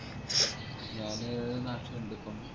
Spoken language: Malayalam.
ഞാന് നാട്ടിലിണ്ടിപ്പം